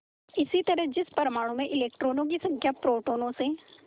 इसी तरह जिस परमाणु में इलेक्ट्रॉनों की संख्या प्रोटोनों से